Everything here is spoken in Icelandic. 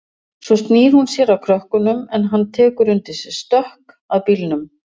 Svo snýr hún sér að krökkunum en hann tekur undir sig stökk að bílnum.